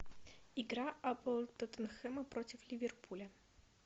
игра апл тоттенхэма против ливерпуля